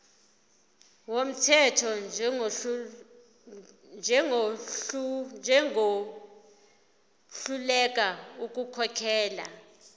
wumthetho njengohluleka ukukhokhela